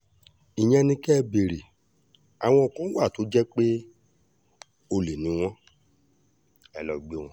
ìyẹn ni kẹ́ ẹ béèrè àwọn kan wà tó jẹ́ pé olè ni wọ́n ẹ lọ́ọ́ gbé wọn